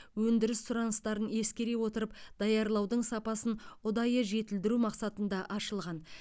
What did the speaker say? өндіріс сұраныстарын ескере отырып даярлаудың сапасын ұдайы жетілдіру мақсатында ашылған